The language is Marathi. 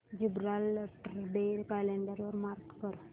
जिब्राल्टर डे कॅलेंडर वर मार्क कर